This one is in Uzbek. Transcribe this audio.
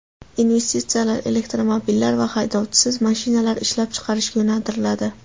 Investitsiyalar elektromobillar va haydovchisiz mashinalar ishlab chiqarishga yo‘naltiriladi.